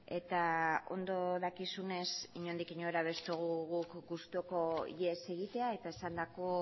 eta ondo dakizunez inondik inora ez dugu guk gustuko ihes egitea eta esandako